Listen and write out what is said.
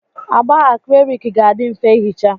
Agba akriliki ga-adị mfe ihicha.